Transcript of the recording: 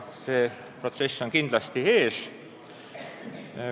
See protsess on kindlasti ees.